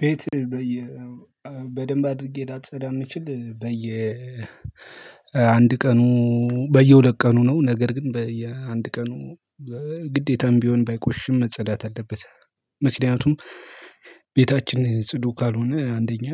ቤት በየ በደንብ አድርጌ ላጸዳ የምንችል በየ አንድ ቀኑ በየሁለት ቀኑ ነው። ነገር ግን በየአንድ ቀኑ ግዴታም ቢሆን ባይቆሽም መጸዳት አለበት። ምክንያቱም ቤታችን ጽዱ ካልሆነ አንደኛ